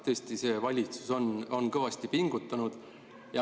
Tõesti, see valitsus on kõvasti pingutanud.